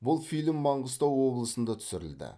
бұл фильм маңғыстау облысында түсірілді